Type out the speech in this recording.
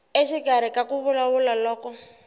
exikarhi ka ku vulavula loko